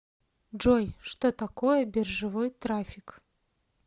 джой что такое биржевой трафик